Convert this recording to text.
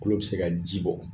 Kulo bi se ka ji bɔ